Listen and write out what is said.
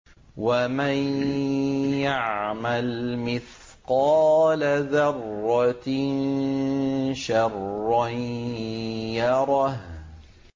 وَمَن يَعْمَلْ مِثْقَالَ ذَرَّةٍ شَرًّا يَرَهُ